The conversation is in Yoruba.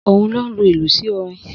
Ohun ló n lu ìlù sí orin